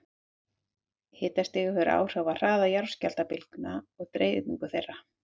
Hitastig hefur áhrif á hraða jarðskjálftabylgna og deyfingu þeirra.